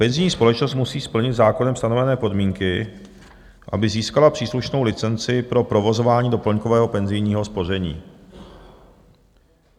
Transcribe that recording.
Penzijní společnost musí splnit zákonem stanovené podmínky, aby získala příslušnou licenci pro provozování doplňkového penzijního spoření.